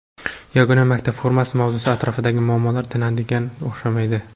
Yagona maktab formasi mavzusi atrofidagi muammolar tinadiganga o‘xshamaydi.